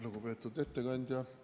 Lugupeetud ettekandja!